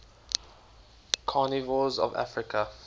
carnivores of africa